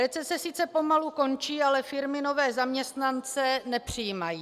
Recese sice pomalu končí, ale firmy nové zaměstnance nepřijímají.